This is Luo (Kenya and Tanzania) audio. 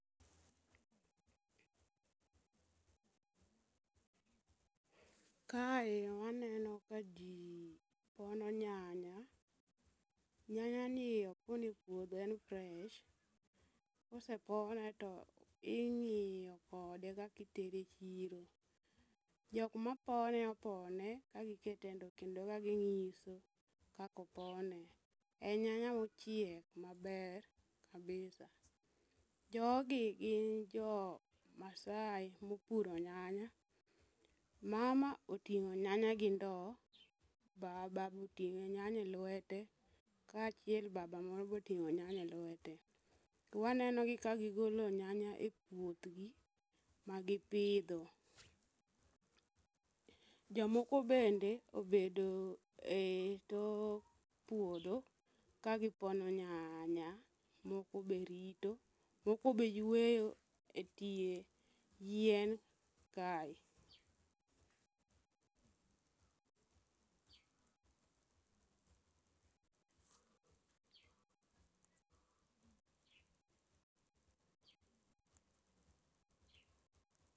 Kae waneno ka ji pono nyanya, nyanyani opone puodho en fresh kosepone to ing'iyo kode kakitere chiro jok ma pone opone kagikete ndo kendo kaging'iso kakopone. En nyanya mochiek maber kabisa. Jogi gin jo maasai mopuro nyanya, mama oting'o nyanya gi ndo baba boting'o nyanya e lwete kaachiel baba moro boting'o nyanya e lwete. Twanenogi kagigolo nyanya e puothgi magipidho, jomoko bende obedo e tok puodho kagipono nyanya moko be rito, moko be yweyo e tie yien kae.